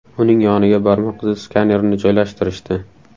Uning yoniga barmoq izi skanerini joylashtirishdi.